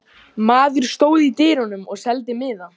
Maður stóð í dyrunum og seldi miða.